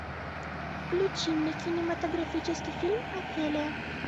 включи мне кинематографический фильм офелия